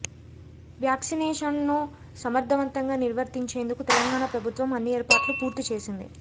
వ్యాక్సినేషన్ను సమర్ధవంతంగా నిర్వర్తించేందుకు తెలంగాణ ప్రభుత్వం అన్ని ఏర్పాట్లు పూర్తి చేసేంది